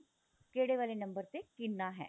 ਕਿਹੜੇ ਵਾਲੇ ਨੰਬਰ ਤੇ ਕਿੰਨਾ ਹੈ